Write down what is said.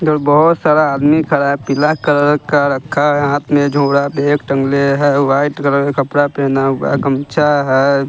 इधर बहोत सारा आदमी खड़ा पिला कलर का रखा है हाथ में झोड़ा बैग तंगले है व्हाइट कलर कपड़ा पहना हुआ गमछा है।